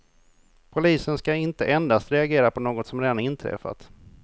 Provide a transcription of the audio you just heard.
Polisen ska inte endast reagera på något som redan inträffat.